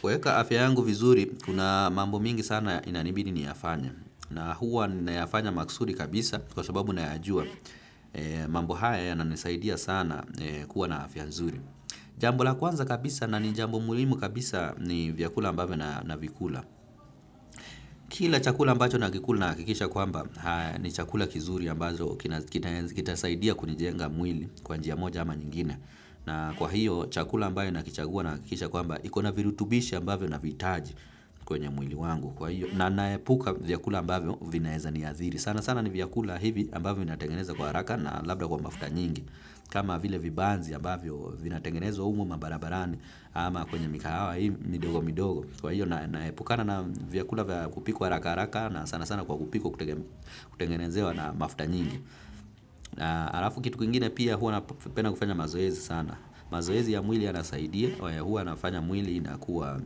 Kuweka afya yangu vizuri, kuna mambo mingi sana inanibidi niyafanye. Na huwa ninayafanya maksudi kabisa kwa shababu nayaajua. Mambo haya yananisaidia sana kuwa na afya nzuri. Jambo la kwanza kabisa na ni jambo muhimu kabisa ni vyakula ambavyo navikula. Kila chakula ambacho nakikula nahakikisha kwamba ni chakula kizuri ambazo kitasaidia kunijenga mwili kwa njia moja ama nyingine. Na kwa hiyo chakula ambayo nakichagua nahakikisha kwamba ikona virutubisho ambavyo navihitaji. Kwenye mwili wangu kwa hiyo. Na naepuka vyakula ambavyo vinaeza niadhiri. Sana sana ni vyakula hivi ambavyo vinaetengenezwa kwa haraka na labda kwa mafuta nyingi. Kama vile vibanzi ambavyo vinaetengenezwa humu mabarabarani ama kwenye mikahawa hii midogo midogo. Kwa hiyo naepukana na vyakula vya kupikwa haraka haraka na sana sana kwa kupikwa kutengenezewa na mafuta nyingi. Halafu kitu kingine pia huwa napenda kufanya mazoezi sana. Mazoezi ya mwili yanasaidia. Huwa nafanya mwili inakuwa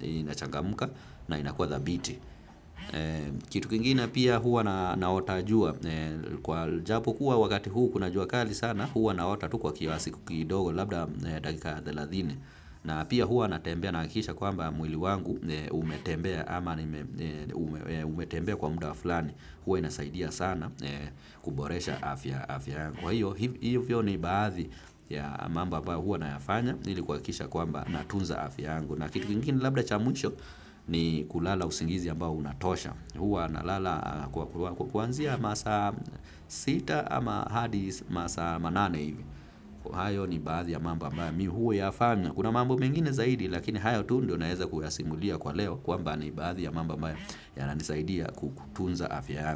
inachangamka na inakuwa thabiti. Kitu kingine pia huwa naota jua. Kwa japo kuwa wakati huu kuna jua kali sana huwa naota tu kwa kiasi kidogo labda dakika thelathini. Na pia huwa natembea nahakikisha kwamba mwili wangu umetembea. Ama ni umetembea kwa muda fulani huwa inasaidia sana kuboresha afya kwa hiyo hivyo ni baadhi ya mambo ambayo huwa nayafanya ili kuhakikisha kwamba natunza afya yangu na kitu kingine labda cha mwisho ni kulala usingizi ambao unatosha huwa na lala kuanzia masaa sita ama hadi masaa manane hivi kwa hiyo ni baadhi ya mambo mi huyafanya kuna mambo mengine zaidi lakini hayo tu ndio naeza kuyasingulia kwa leo kwamba ni baadhi ya mambo ambayo yananisaidia kutunza afya yangu.